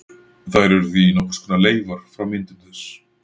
Þær eru því nokkurs konar leifar frá myndun þess.